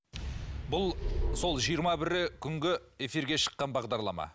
бұл сол жиырма бірі күнгі эфирге шыққан бағдарлама